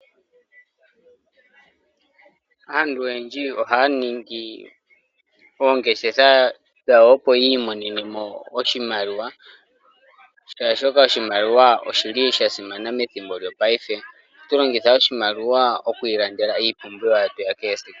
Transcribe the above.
Aantu oyendji oha ningi oongeshefa dhawo opo yimonene oshimaliwa oshoka oshimaliwa oshili sha simana methimbo lyo payife, oha tulongitha oshimaliwa okwilandela iipumbiwa yetu yakesiku.